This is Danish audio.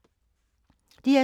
DR2